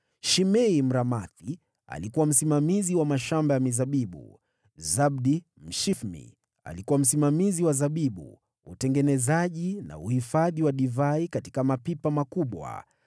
Shimei Mramathi alikuwa msimamizi wa mashamba ya mizabibu. Zabdi Mshifmi alikuwa msimamizi wa zabibu, utengenezaji na uhifadhi wa divai katika mapipa makubwa.